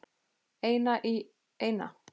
Eina í eina.